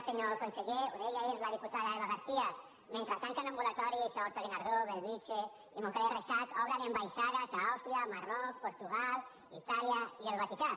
senyor conseller ho deia ahir la diputada eva garcía mentre tanquen ambulatoris a horta guinardó bellvitge i montcada i reixac obren ambaixades a àustria marroc portugal itàlia i el vaticà